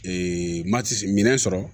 mati minɛn sɔrɔ